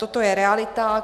Toto je realita.